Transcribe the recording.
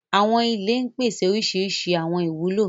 Àwọn ìlẹ̀ ń pèsè orísíríṣí àwọn ìwulo.